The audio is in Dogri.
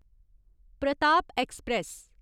प्रताप ऐक्सप्रैस